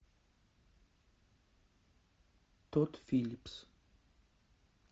тодд филлипс